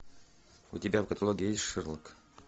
у тебя в каталоге есть шерлок